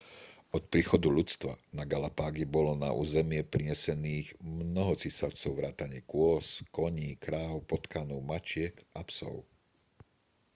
od príchodu ľudstva na galapágy bolo na územie prinesených mnoho cicavcov vrátane kôz koní kráv potkanov mačiek a psov